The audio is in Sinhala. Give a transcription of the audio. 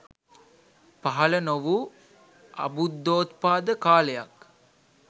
පහළ නොවූ අබුද්ධෝත්පාද කාලයක්.